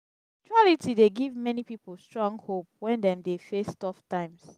spirituality dey give many pipo strong hope wen dem dey face tough times.